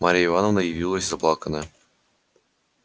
марья ивановна явилась заплаканная